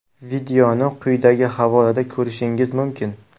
Videoni quyidagi havolada ko‘rishingiz mumkin.